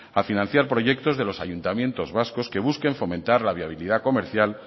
a financiar proyectos de los ayuntamientos vascos que busquen fomentar la viabilidad comercial